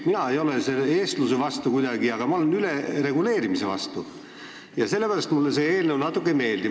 Mina ei ole kuidagi eestluse vastu, aga ma olen ülereguleerimise vastu ja sellepärast mulle see eelnõu natuke ei meeldi.